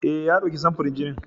Eh, ya ɗauki samfurin jini.